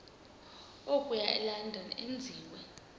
okuya elondon enziwe